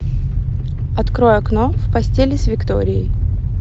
открой окно в пастели с викторией